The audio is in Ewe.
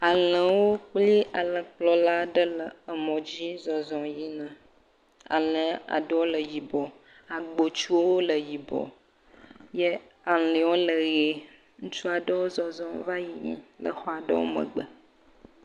Alẽwo kple alẽkplɔla aɖe le emɔdzi zɔzɔm yina. Alẽ aɖewo le yibɔ. Agbtsuwo le yibɔ ye alẽwo le ʋie. Ŋutsu aɖe le zɔzɔm yina le xɔ aɖewo megbe.